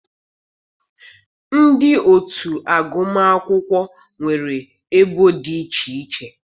Ndị otu agụmakwụkwọ nwere ebo dị iche iche.